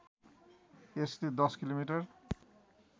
यसले १० किलोमिटर